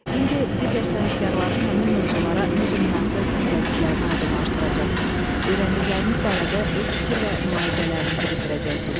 İndi digər sənətkarların həmin mövuzlara necə münasibət bəslədiklərini aydınlaşdıracaq, öyrəndikləriniz barədə öz fikir və mülahizələrinizi bildirəcəksiniz.